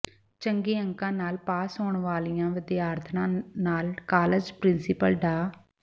ਚੰਗੇ ਅੰਕਾਂ ਨਾਲ ਪਾਸ ਹੋਣ ਵਾਲੀਆਂ ਵਿਦਿਆਰਥਣਾਂ ਨਾਲ ਕਾਲਜ ਪ੍ਰਿੰਸੀਪਲ ਡਾ